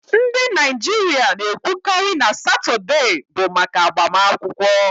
Ndị Naijiria na-ekwukarị na Satọde bụ maka agbamakwụkwọ